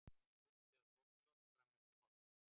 Súld eða þokuloft fram eftir morgni